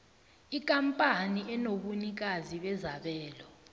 ikampani enobunikazi bezabelo